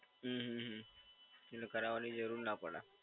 હમ્મ હમ્મ હમ્મ એટલે કરાવવાની જરૂર ના પડે.